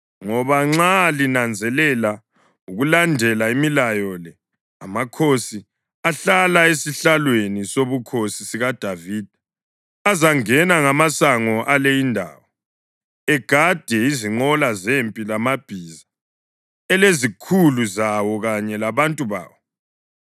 Ngoba nxa linanzelela ukulandela imilayo le, amakhosi ahlala esihlalweni sobukhosi sikaDavida azangena ngamasango ale indawo, egade izinqola zempi lamabhiza, elezikhulu zawo kanye labantu bawo.